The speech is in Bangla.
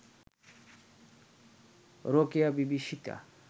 রোকেয়াবিবি সীতা